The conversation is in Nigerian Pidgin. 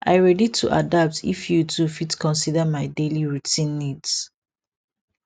i ready to adapt if you too fit consider my daily routine needs